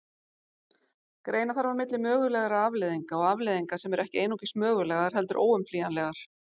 Greina þarf á milli mögulegra afleiðinga og afleiðinga sem eru ekki einungis mögulegar heldur óumflýjanlegar.